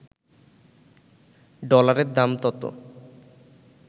ডলারের দাম তত